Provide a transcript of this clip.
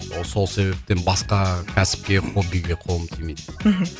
ол сол себептен басқа кәсіпке хоббиге қолым тимейді мхм